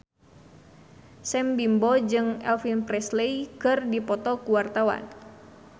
Sam Bimbo jeung Elvis Presley keur dipoto ku wartawan